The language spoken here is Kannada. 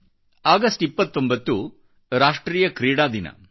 ಆಗಸ್ಟ್ 29 ರಾಷ್ಟ್ರೀಯ ಕ್ರೀಡಾ ದಿನವಾಗಿದೆ